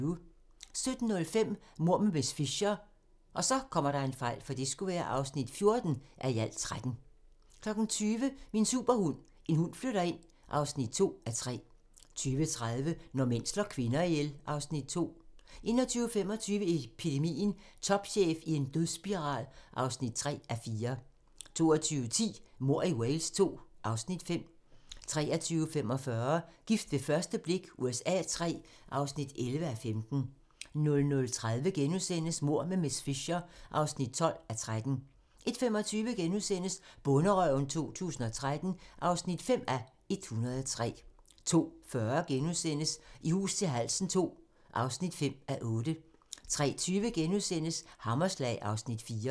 17:05: Mord med miss Fisher (14:13) 20:00: Min superhund: En hund flytter ind (2:3) 20:30: Når mænd slår kvinder ihjel (Afs. 2) 21:25: Epidemien - Topchef i en dødsspiral (3:4) 22:10: Mord i Wales II (Afs. 5) 23:45: Gift ved første blik USA III (11:15) 00:30: Mord med miss Fisher (12:13)* 01:25: Bonderøven 2013 (5:103)* 02:40: I hus til halsen II (5:8)* 03:20: Hammerslag (Afs. 4)*